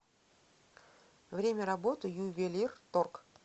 время работы ювелирторг